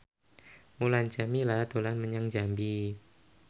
Mulan Jameela dolan menyang Jambi